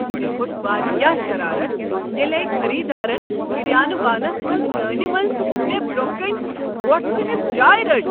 مےٚ کھوٚت واریاہ شرارتھ ییٚلہ أکۍ خٔریٖدارن كِریانہٕ وانس منٛز لٲنہ منٛز مےٚ برٛونٛہہ کنہ وۄٹھ ژھنِتھ جاے رٔٹ۔